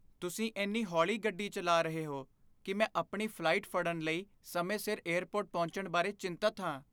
ਤੁਸੀਂ ਇੰਨੀ ਹੌਲੀ ਗੱਡੀ ਚਲਾ ਰਹੇ ਹੋ ਕਿ ਮੈਂ ਆਪਣੀ ਫਲਾਈਟ ਫੜਨ ਲਈ ਸਮੇਂ ਸਿਰ ਏਅਰਪੋਰਟ ਪਹੁੰਚਣ ਬਾਰੇ ਚਿੰਤਤ ਹਾਂ।